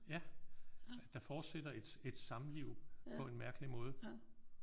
Ja der fortsætter et et samliv på en mærkelig måde